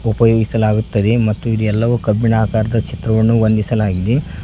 ಉಪಯೋಗಿಸಲಾಗುತ್ತದೆ ಮತ್ತು ಇದು ಎಲ್ಲವೂ ಕಬ್ಬಿಣ ಆಕಾರದ ಚಿತ್ರವನ್ನು ಹೊಂದಿಸಲಾಗಿದೆ.